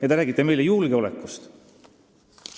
Ja te räägite meile julgeolekust.